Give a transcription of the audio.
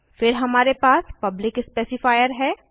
फिर हमारे पास पब्लिक स्पेसिफायर है